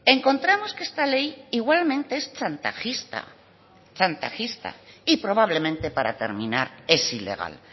encontramos que esta ley igualmente es chantajista chantajista y probablemente para terminar es ilegal